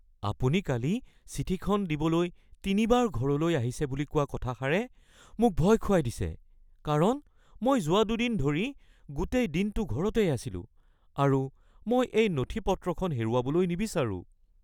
আপুনি কালি চিঠিখন দিবলৈ তিনিবাৰ ঘৰলৈ আহিছে বুলি কোৱা কথাষাৰে মোক ভয় খুৱাই দিছে কাৰণ মই যোৱা দুদিন ধৰি গোটেই দিনটো ঘৰতেই আছিলো আৰু মই এই নথিপত্ৰখন হেৰুৱাবলৈ নিবিচাৰোঁ। (গ্ৰাহক)